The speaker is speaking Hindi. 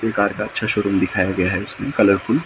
ये कार का अच्छा शोरूम दिखाया गया है इसमें कलरफुल ।